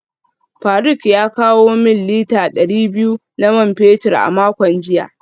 Faruk ya kawo min lita dari biyu na man fetur a makon jiya